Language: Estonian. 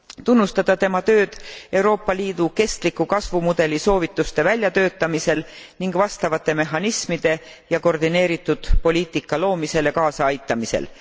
Tunnustada tema tööd Euroopa Liidu kestliku kasvumudeli soovituste väljatöötamisel ning vastavate mehhanismide ja koordineeritud poliitika loomisele kaasa aitamisel.